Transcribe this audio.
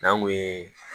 N'an kun ye